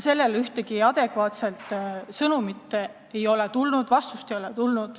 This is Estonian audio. Sellele vastust ei ole tulnud.